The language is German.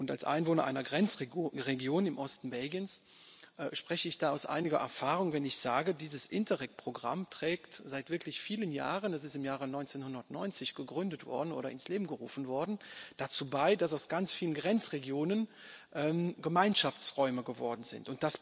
Als Einwohner einer Grenzregion im Osten Belgiens spreche ich da aus eigener Erfahrung, wenn ich sage Dieses Interreg Programm trägt seit wirklich vielen Jahren es ist im Jahre 1990 ins Leben gerufen worden dazu bei, dass aus ganz vielen Grenzregionen Gemeinschaftsräume geworden sind.